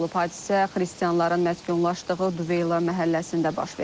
Hadisə xristianların məskunlaşdığı Duveyla məhəlləsində baş verib.